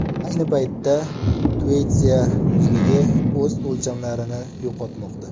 Ayni paytda Tueytsa muzligi o‘z o‘lchamlarini yo‘qotmoqda.